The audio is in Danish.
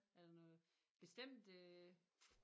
Er der noget bestemt øh